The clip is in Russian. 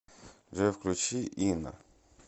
джой включи инна